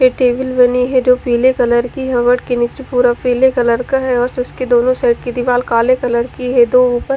table बनी हुयी है जो पिले कलर की है टेबल के निचे पूरा पिले कलर का है और उसके दोनों साईड की दीवार काले कलर की है तो ऊपर --